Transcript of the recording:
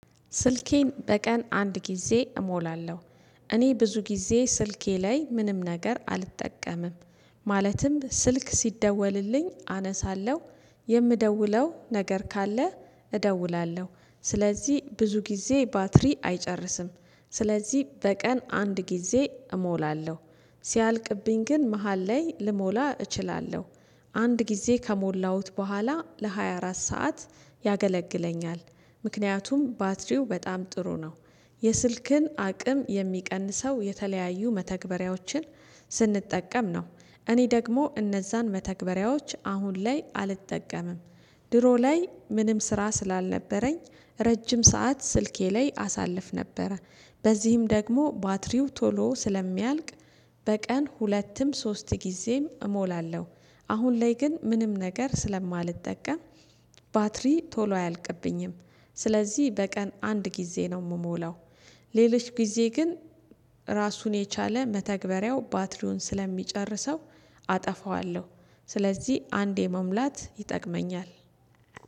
ስልኬን በቀን አንድ ጊዜ እሞላለሁ— እኔ ብዙ ጊዜ ስልኬ ላይ ምንም ነገር አልጠቀምም። ማለትም ስልክ ሲደወልልኝ አነሳለሁ የምደውለው ነገር ካለ እደውላለሁ ስለዚህ ብዙ ጊዜ ባትሪ አይጨርስም ስለዚህ በቀን አንድ ጊዜ እሞላለሁ። ሲያልቅብኝ ግን መሃል ላይ ልሞላ እችላለሁ። አንድ ጊዜ ከሞላሁት በኋላ ለሃያ አራት ሰዓት ያገለግለኛል ምክንያቱም ባትሪው በጣም ጥሩ ነው የስልክን አቅም የሚቀንሰው የተለያዩ መተግበሪያዎችን ስንጠቀም ነው እኔ ደግሞ እነዛን መተግበሪያዎች አሁን ላይ አልጠቀምም። ድሮ ላይ ምንም ስራ ስላልነበረኝ ረጅም ሰዓት ስልኬ ላይ አሳልፍ ነበረ በዚህም ደግሞ ባትሪው ቶሎ ስለሚያልቅ በቀን ሁለትም ሶስት ጊዜም እሞላለሁ አሁን ላይ ግን ምንም ነገር ስለማልጠም— ባትሪ ቶሎ አያልቅብኝም ስለዚህ በቀን አንድ ጊዜ ነው የምሞላው። ሌሎች ጊዜ ግን ራሱን የቻለ መተግበሪያው ባትሪውን ስለሚጨርሰው አጠፋዋለሁ ስለዚህ አንዴ መሙላት ይጠቅመኛል።